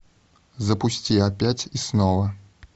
запусти опять и снова